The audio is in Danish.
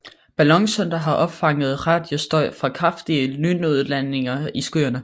Ballonsonder har opfanget radiostøj fra kraftige lynudladninger i skyerne